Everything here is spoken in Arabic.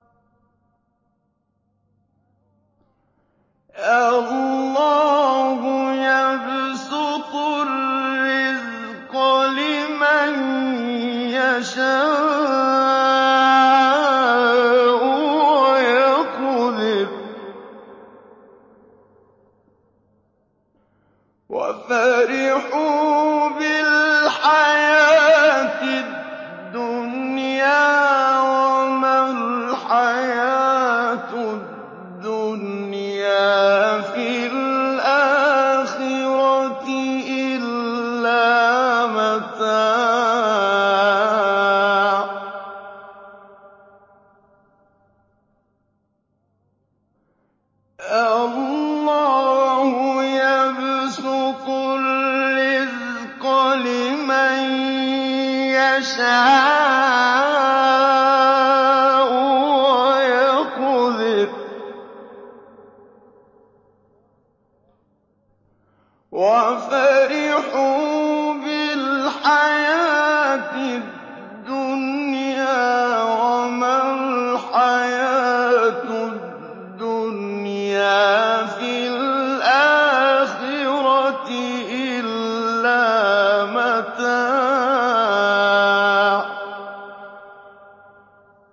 اللَّهُ يَبْسُطُ الرِّزْقَ لِمَن يَشَاءُ وَيَقْدِرُ ۚ وَفَرِحُوا بِالْحَيَاةِ الدُّنْيَا وَمَا الْحَيَاةُ الدُّنْيَا فِي الْآخِرَةِ إِلَّا مَتَاعٌ